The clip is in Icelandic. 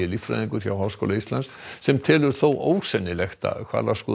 líffræðingur hjá Háskóla Íslands sem telur þó ósennilegt að